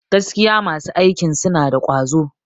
Gaskiya masu aikin suna da ƙwazo.